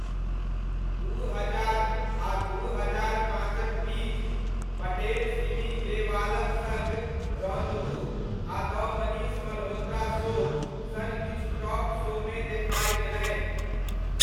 दू हजार आ दू हजार पाँचक बीच, पटेल सिमी ग्रेवालक सङ्ग रौन्दवु'' आ 'द मनीष मल्होत्रा शो' सन किछु टॉक शोमे देखाइ देलनि।